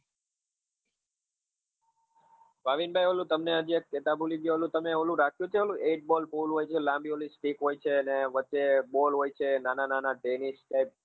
ભાવિન ભાઈ ઓલું તમે હજી તમે ઓલું રાખ્યું કે ઓલું એક ball હોય છે લાંબી ઓલી stick હોય છે અને વચ્ચે ball હોય છે નાના નાના ટેનીસ type?